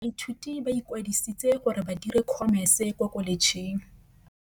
Baithuti ba ikwadisitse gore ba dire Khomese kwa Kholetšheng.